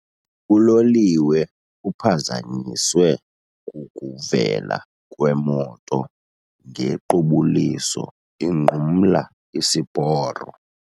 Uloliwe uphazanyiswe kukuvela kwemoto ngequbuliso inqumla isiporo.